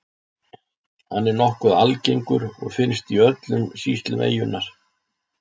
Hann er nokkuð algengur og finnst í öllum sýslum eyjunnar.